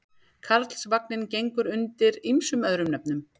Karlsvagninn gengur undir ýmsum öðrum nöfnum.